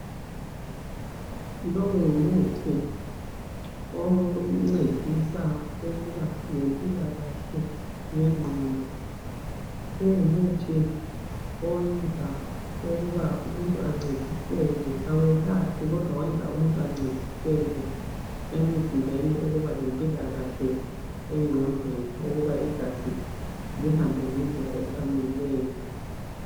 Lowu ngumuthi oncedisa ukuba lempilakahleyenqondo. Kungumuthi owenza ukuba umuntu ancediseke, awuyelaphi kodwa wenza umuntu ancediseke emzimbeni, ukubalempilakahle engqondweni, ukuba igazi lihambengendlela efaneleyo.